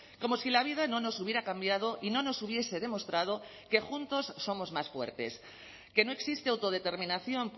como si la vida no nos hubiera cambiado y no nos hubiese demostrado que juntos somos más fuertes que no existe autodeterminación